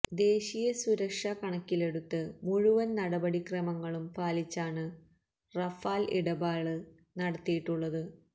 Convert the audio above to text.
ദേശീയ സുരക്ഷ കണക്കിലെടുത്ത് മുഴുവന് നടപടി ക്രമങ്ങളും പാലിച്ചാണ് റഫാല് ഇടപാട് നടത്തിയിട്ടുള്ളത്